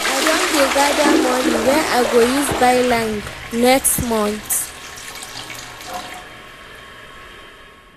I don dey gada moni wey I go use buy land next month.